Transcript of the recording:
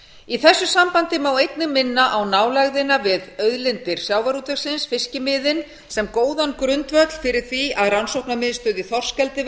í þessu sambandi má einnig minna á nálægðina við auðlindir sjávarútvegsins fiskimiðin sem góðan grundvöll fyrir því að rannsóknamiðstöð í þorskeldi